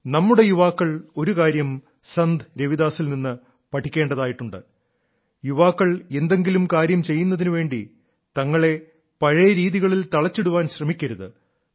നമ്മുടെ യുവാക്കൾ ഒരുകാര്യം സന്ത് രവിദാസിൽ നിന്ന് പഠിക്കേണ്ടതായിട്ടുണ്ട് യുവാക്കൾ എന്തെങ്കിലും കാര്യം ചെയ്യുന്നതിനു വേണ്ടി തങ്ങളെ പഴയ രീതികളിൽ തളച്ചിടാൻ ശ്രമിക്കരുത്